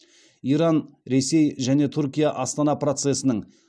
иран ресей және түркия астана процесінің